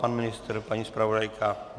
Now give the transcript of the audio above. Pan ministr, paní zpravodajka?